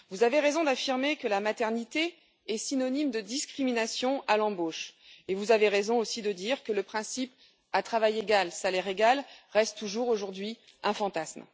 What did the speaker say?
Vous avez raison d'affirmer que la maternité est synonyme de discrimination à l'embauche et vous avez raison aussi de dire que le principe à travail égal, salaire égal reste toujours aujourd'hui un fantasme.